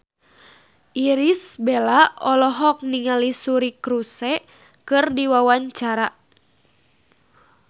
Irish Bella olohok ningali Suri Cruise keur diwawancara